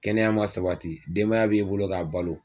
Kɛnɛya ma sabati denbaya b'i bolo k'a balo